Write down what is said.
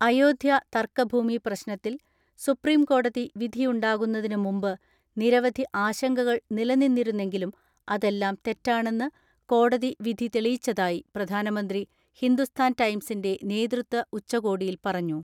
അയോധ്യ തർക്കഭൂമി പ്രശ്നത്തിൽ സുപ്രീംകോടതി വിധിയുണ്ടാകുന്നതിന് മുമ്പ് നിരവധി ആശങ്ക കൾ നിലനിന്നിരുന്നെങ്കിലും അതെല്ലാം തെറ്റാണെന്ന് കോടതി വിധി തെളിയിച്ചതായി പ്രധാനമന്ത്രി ഹിന്ദുസ്ഥാൻ ടൈംസിന്റെ നേതൃത്വ ഉച്ചകോടിയിൽ പറഞ്ഞു.